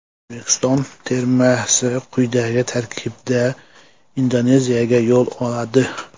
O‘zbekiston termasi quyidagi tarkibda Indoneziyaga yo‘l oladi.